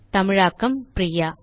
தமிழாக்கம் பிரியா